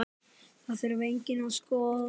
Það þurfi einnig að skoða.